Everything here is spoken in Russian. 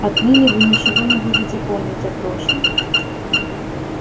отныне вы ничего не будете помнить о прошлом